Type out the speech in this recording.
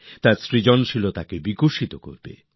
তার সৃজনশীলতাকে সামনে নিয়ে আসে